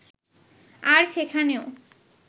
আর সেখানেও